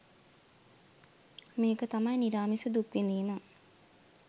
මේක තමයි නිරාමිස දුක් විඳීම